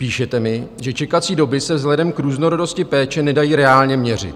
Píšete mi, že čekací doby se vzhledem k různorodosti péče nedají reálně měřit.